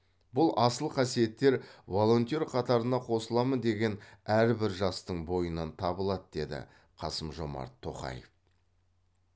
бұл асыл қасиеттер волонтер қатарына қосыламын деген әрбір жастың бойынан табылады деді қасым жомарт тоқаев